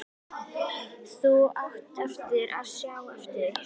Þú átt eftir að sjá eftir því!